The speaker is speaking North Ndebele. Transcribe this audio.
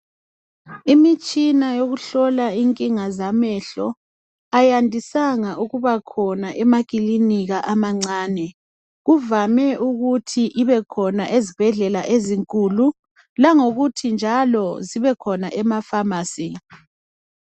Imitshina eyokuhlola inkinga zamehlo ayandisanga ukuba khona emakilinika amancane kuvame ukuthi ibekhona ezibhedlela ezinkulu langokuthi njalo zibekhona emafamasi.